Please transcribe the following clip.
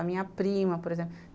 A minha prima, por exemplo.